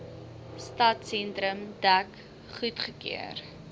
stadsentrum dek goedgekeur